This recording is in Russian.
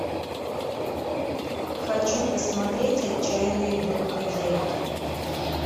хочу посмотреть отчаянные домохозяйки